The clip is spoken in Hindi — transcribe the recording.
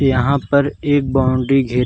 यहाँ पर एक बाउंड्री घेर --